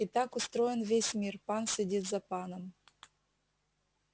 и так устроен весь мир пан сидит за паном